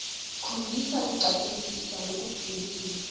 khombisa kucaphelisisa lokujulile